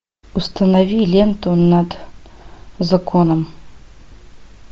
установи ленту над законом